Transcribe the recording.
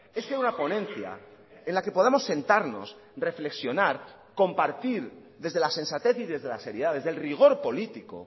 es que una ponencia en la que podamos sentarnos reflexionar compartir desde la sensatez y desde la seriedad desde el rigor político